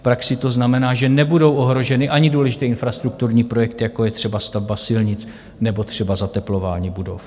V praxi to znamená, že nebudou ohroženy ani důležité infrastrukturní projekty, jako je třeba stavba silnic nebo třeba zateplování budov.